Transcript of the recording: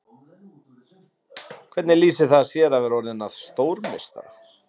Hvernig lýsir það sér að vera orðinn að stórmeistara?